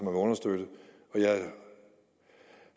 må understøtte jeg